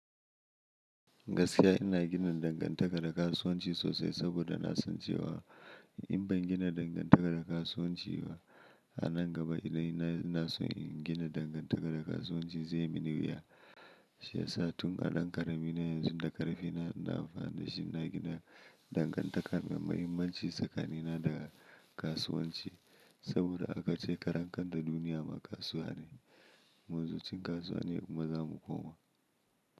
Gaskiya ina gina dangantaka da kasuwanci sosai saboda na san cewa in ban gina dangantakar da kasuwanci ba a nan gaba idan ina son in gina dangantaka da kasuwanci zai yi mini wuya. Shi yasa tun a ɗan ƙarami na yanzu da ƙarfi na, ina amfani da shi ina gina dangantaka mai mahimmanci tsakanina da kasuwanci saboda aka ce karen ƙanda duniya ma kasuwa ne. Munzo cin kasuwa ne kuma za mu koma.